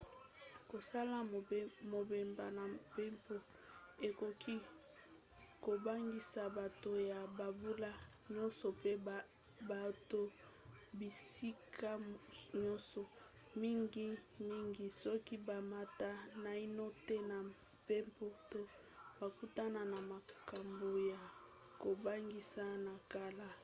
kosala mobembo na mpepo ekoki kobangisa bato ya bambula nyonso pe bauta bisika nyonso mingimingi soki bamata naino te na mpepo to bakutana na makambo ya kobangisa na kala